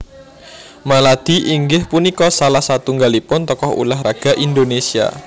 Maladi inggih punika salah satunggalipun tokoh ulah raga Indonésia